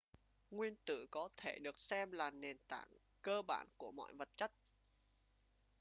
nguyên tử có thể được xem là nền tảng cơ bản của mọi vật chất